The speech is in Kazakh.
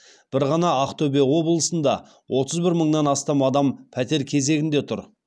бір ғана ақтөбе облысында отыз бір мыңнан астам адам пәтер кезегінде тұр